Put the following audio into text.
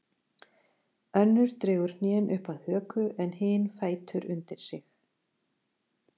Önnur dregur hnén upp að höku en hin fætur undir sig.